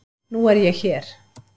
Nú er ég hér.